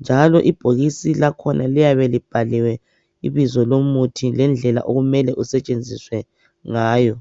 Njalo ibhokisi lakhona liyabe libhaliwe ibizo lomuthi lendlela okumele usetshenziswe ngayo .